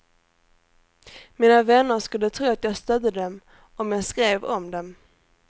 Mina vänner skulle tro att jag stödde dem om jag skrev om dem.